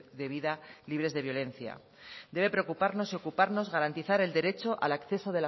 de vida libres de violencia debe preocuparnos y ocuparnos garantizar el derecho al acceso